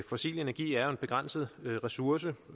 fossil energi er jo en begrænset ressource